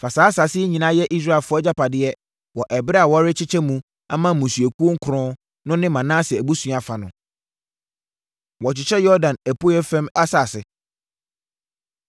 Fa saa asase yi nyinaa sɛ Israelfoɔ agyapadeɛ wɔ ɛberɛ a worekyekyɛ mu ama mmusuakuo nkron no ne Manase abusua fa no.” Wɔkyekyɛ Yordan Apueeɛ Fam Asase Mu